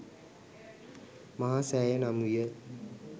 මහා සෑය නම් විය.